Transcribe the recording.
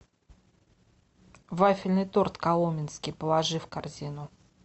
вафельный торт коломенский положи в корзину